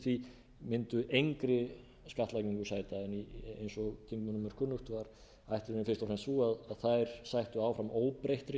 því mundu engri skattlagningu sæta en eins og þingmönnum er kunnugt var ætlunin fyrst og fremst sú að þær sættu áfram óbreyttri